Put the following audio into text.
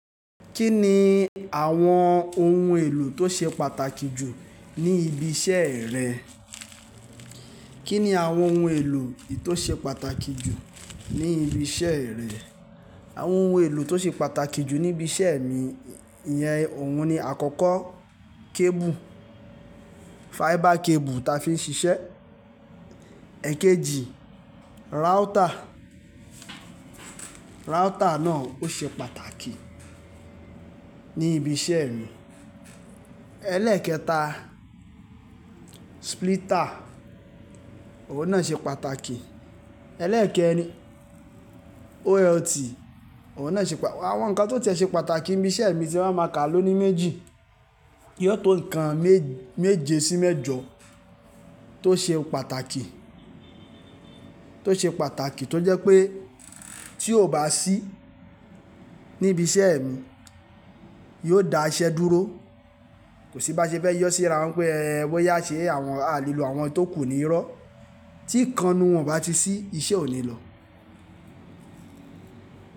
Kí ni àwọn ohun èlò tó ṣe pàtàkì jù ní ibi iṣẹ́ rẹ? Kí ni àwọn ohun èlò tó ṣe pàtàkì jù ní ibi iṣẹ́ rẹ? Àwọn ohun èlò tó ṣe pàtàkì jù níbi iṣẹ́ mi, iyẹn ohùn ni àkọ́kọ́, cable, fiber cable ta fi ń ṣiṣẹ́. Ẹ̀kejì, router. Router náà ó ṣe pàtàkì ní ibi iṣẹ́ mi. Ẹlẹ́ẹ̀kẹta, splitter, òun náà ṣe pàtàkì. Ẹlẹ́ẹ̀kẹrin, OLT, ohùn náà ṣe pàtàkì àwọn nǹkan tó ti lè ṣe pàtàkì níbi iṣẹ́ mi tí wọ́n máa ka ló ni méjì. Yóò tó nǹkan méje sí mẹ́jọ tó ṣe pàtàkì, tó ṣe pàtàkì tó jẹ́ pé tí ó bá sí níbi iṣẹ́ mi, yóò dá iṣẹ́ dúró. Kò sí báṣe fẹ́ yọ sí ara wọn pé ẹ wọ́n yá ṣe àwọn tó kù ní irọ́. Tí nǹkan nǹkan wọn bá ti ṣí, iṣẹ́ ò ní lọ.